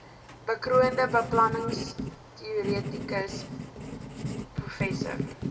bekroonde beplanningsteoretikus prof